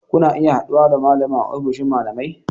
Kuna iya haɗuwa da malamin a ofishin malamai